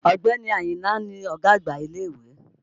Ọ̀gbẹ́ni Àyìnlá ni ọ̀gá àgbà ilé-ìwé